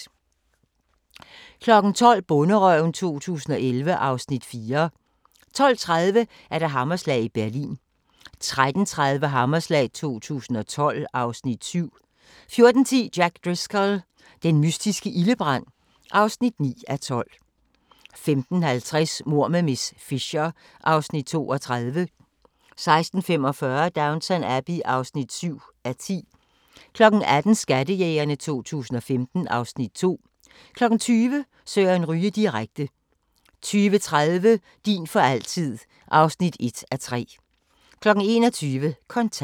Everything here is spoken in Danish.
12:00: Bonderøven 2011 (Afs. 4) 12:30: Hammerslag i Berlin 13:30: Hammerslag 2012 (Afs. 7) 14:10: Jack Driscoll – den mystiske ildebrand (9:12) 15:50: Mord med miss Fisher (Afs. 32) 16:45: Downton Abbey (7:10) 18:00: Skattejægerne 2015 (Afs. 2) 20:00: Søren Ryge direkte 20:30: Din for altid (1:3) 21:00: Kontant